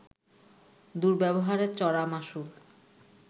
দুর্ব্যবহারের চড়া মাশুল